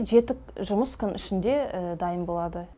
жеті жұмыс күн ішінде дайын болады